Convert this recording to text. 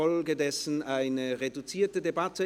Folglich handelt es sich um eine reduzierte Debatte.